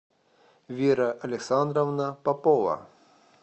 вера александровна попова